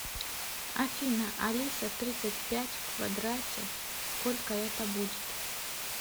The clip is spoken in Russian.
афина алиса тридцать пять в квадрате сколько это будет